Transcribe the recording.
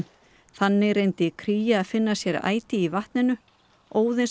þannig reyndi kría að finna sér æti í vatninu